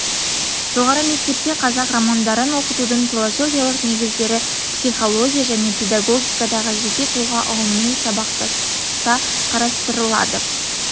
жоғары мектепте қазақ романдарын оқытудың философиялық негіздері психология және педагогикадағы жеке тұлға ұғымымен сабақтастықта қарастырылады